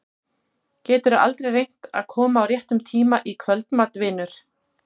Geturðu aldrei reynt að koma á réttum tíma í kvöldmat, vinur?